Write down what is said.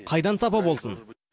қайдан сапа болсын